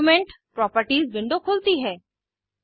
document properties window खुलती है